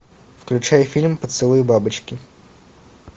включай фильм поцелуй бабочки